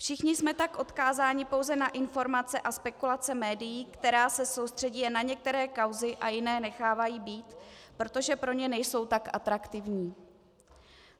Všichni jsme tak odkázáni pouze na informace a spekulace médií, která se soustředí jen na některé kauzy a jiné nechávají být, protože pro ně nejsou tak atraktivní.